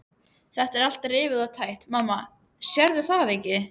Þetta er allt rifið og tætt, mamma, sérðu það ekki?